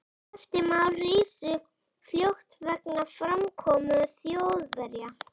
Eftirmál risu fljótt vegna framkomu Þjóðverja.